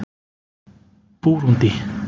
Búrúndí